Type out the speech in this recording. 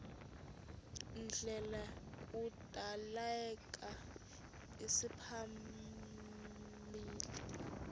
ndlela kudaleka isimaphambili